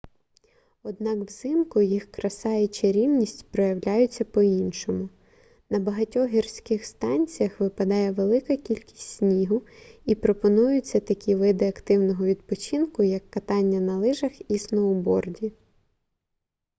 однак взимку їх краса і чарівність проявляються по-іншому на багатьох гірських станціях випадає велика кількість снігу і пропонуються такі види активного відпочинку як катання на лижах і сноуборді